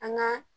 An ka